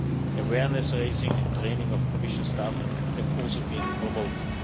Awareness raising and training of Commission staff have also been promoted.